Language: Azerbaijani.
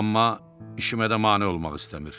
Amma işimə də mane olmaq istəmir.